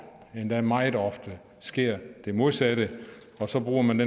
endda meget ofte sker det modsatte og så bruger man